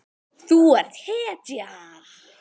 Þú ert hetja.